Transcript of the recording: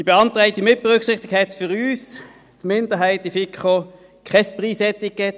Die beantragte Mitberücksichtigung hatte für uns – die Minderheit der FiKo – kein Preisetikett.